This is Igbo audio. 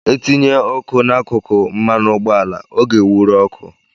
E tinye ọkụ n'akụkụ mmanụ ụgbọala ọ ga-ewụru oku